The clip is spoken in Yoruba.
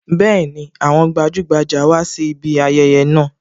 Bẹẹni, àwọn gbajugbaja wá sí ibi ayẹyẹ náà